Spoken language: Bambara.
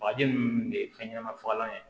Bagaji ninnu de ye fɛn ɲɛnama fagalanw ye